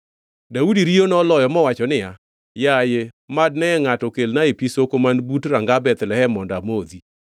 Daudi riyo noloyo mowacho niya, “Yaye mad ne ngʼato kelnae pi soko man but ranga Bethlehem mondo amodhi!”